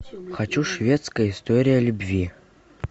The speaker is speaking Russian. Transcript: хочу шведская история любви